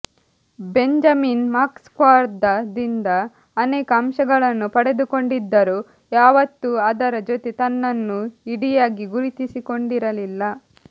Benjamin ಮಾರ್ಕ್ಸ್ವಾದದಿಂದ ಅನೇಕ ಅಂಶಗಳನ್ನು ಪಡೆದುಕೊಂಡಿದ್ದರೂ ಯಾವತ್ತೂ ಅದರ ಜೊತೆ ತನ್ನನ್ನು ಇಡಿಯಾಗಿ ಗುರುತಿಸಿಕೊಂಡಿರಲಿಲ್ಲ